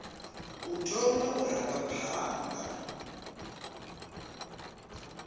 u thoma u ranga phanḓa